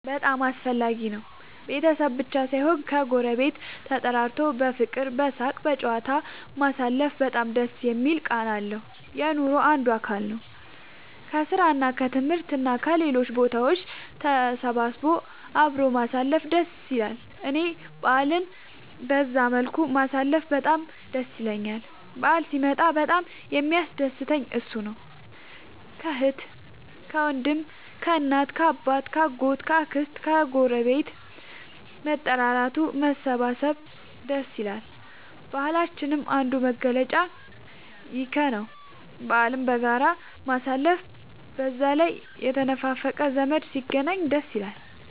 በጣም አስፈላጊ ነው ቤተሰብ ብቻ ሳይሆን ከ ጎረቤት ተጠራርቶ በፍቅር በሳቅ በጨዋታ ማሳለፉ በጣም ደስ የሚል ቃና አለው። የኑሮ አንዱ አካል ነው። ከስራ እና ከትምህርት እና ከሌሎችም ቦታ ተሰብስቦ አብሮ ማሳለፍ ደስ ይላል እኔ በአልን በዛ መልኩ ማሳለፍ በጣም ደስ ይለኛል በአል ሲመጣ በጣም የሚያስደስተኝ እሱ ነው። ከአህት ከወንድም ከእናት ከአባት ከ አጎት ከ አክስት ከግረቤት መጠራራቱ መሰባሰብ ደስ ይላል። የባህላችንም አንዱ መገለጫ ይኽ ነው በአልን በጋራ ማሳለፍ። በዛ ላይ የተነፋፈቀ ዘመድ ሲገናኝ ደስ ይላል